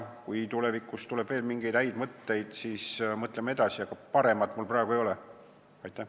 Kui tulevikus tuleb mingeid häid mõtteid, siis mõtleme edasi, aga paremat mul praegu pakkuda ei ole.